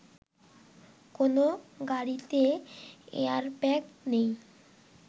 কোনো গাড়িতে এয়ারব্যাগ নেই